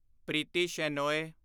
Preeti Shenoy